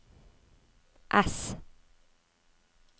ess